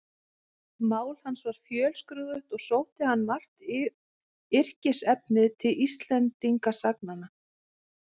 Mál hans var fjölskrúðugt og sótti hann margt yrkisefnið til Íslendingasagnanna.